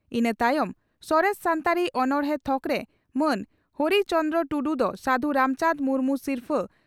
ᱤᱱᱟᱹ ᱛᱟᱭᱚᱢ ᱥᱚᱨᱮᱥ ᱥᱟᱱᱛᱟᱲᱤ ᱚᱱᱚᱬᱦᱮ ᱛᱷᱚᱠᱨᱮ ᱢᱟᱱ ᱦᱚᱨᱤ ᱪᱚᱨᱚᱱᱴᱩᱰᱩ ᱫᱚ ᱥᱟᱹᱫᱷᱩ ᱨᱟᱢᱪᱟᱱᱫᱽ ᱢᱩᱨᱢᱩ ᱥᱤᱨᱯᱷᱟᱹ